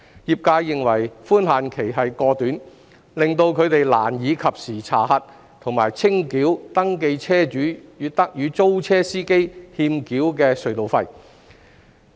業界認為寬限期過短，令他們難以及時查核和清繳登記車主與租車司機欠繳的隧道費。